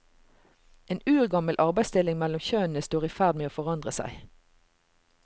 En urgammel arbeidsdeling mellom kjønnene står i ferd med å forandre seg.